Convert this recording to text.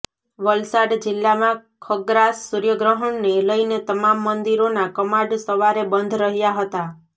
વલસાડ જિલ્લામાં ખગ્રાસ સૂર્યગ્રહણને લઇને તમામ મંદિરોના કમાડ સવારે બંધ રહ્યા હતાં